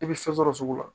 I bɛ fɛn sɔrɔ sugu la